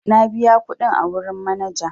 Na biya kuɗin a wurin manaja.